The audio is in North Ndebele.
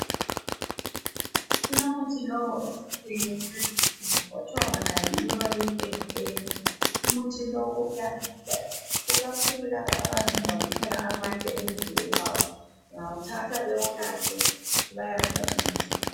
Kulomuthi lo walezinsuku okuthiwa nguRolithina , umuthi lowu kuyanceda kakhulu ikakhulu kulabo abaye bezizwa bephela amandla emzimbeni ,bayawuthatha bewunathe ukuze ubancedise.